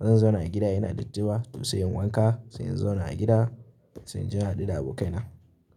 bazan zauna a gida ina datti ba to sai in wanka, sai in zauna a gida, sai in je na haɗu da abokaina.